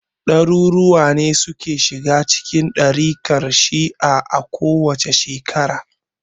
Ɗaruruwa ne suke shiga cikin ɗarikar shi'a a kowace shekara.